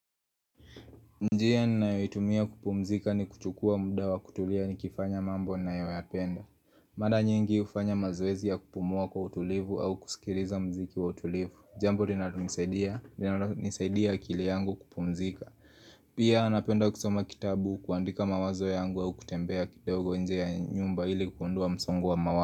Njia ninayoitumia kupumzika ni kuchukua muda wa kutulia ni kifanya mambo nina yoyapenda Mara nyingi hufanya mazoezi ya kupumua kwa utulivu au kusikiriza mziki wa utulivu Jambo linalonisaidia, linalonisaidia akili yangu kupumzika Pia napenda kusoma kitabu kuandika mawazo yangu au kutembea kidogo nje ya nyumba ili kukundua msongu wa mawazo.